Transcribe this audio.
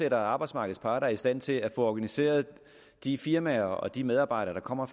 at arbejdsmarkedets parter er i stand til at få organiseret de firmaer og de medarbejdere der kommer